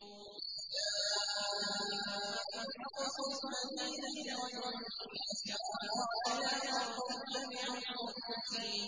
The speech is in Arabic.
وَجَاءَ مِنْ أَقْصَى الْمَدِينَةِ رَجُلٌ يَسْعَىٰ قَالَ يَا قَوْمِ اتَّبِعُوا الْمُرْسَلِينَ